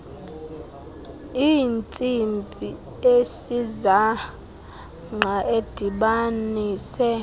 intsimbi esisangqa edibanise